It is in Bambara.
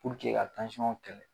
ka kɛlɛ